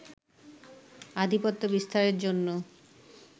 আধিপত্য বিস্তারের জন্য